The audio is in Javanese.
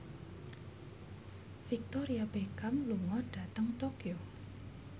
Victoria Beckham lunga dhateng Tokyo